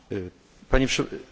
Panie Przewodniczący!